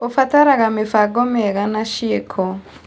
Ũbataraga mĩbango mĩega na ciĩko.